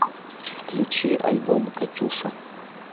включи альбом катюша